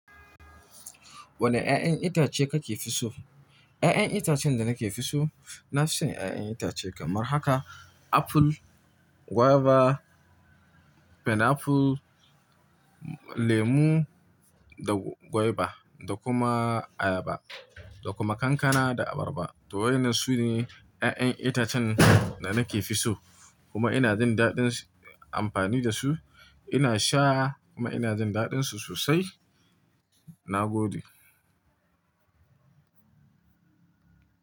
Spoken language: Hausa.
Wane 'ya'yan itace kake fi so? 'Ya'yan itacen da nake fi so, na fi so 'ya'yan itace kamar haka apple, guava, pineapple, lemu da guava da kuma ayaba da kuma kankana da abarba. To waɗannan su ne 'ya'yan itacen da nake fi so. Kuma ina jin daɗin amfani da su. Ina sha kuma ina jin daɗinsu sosai. Na gode.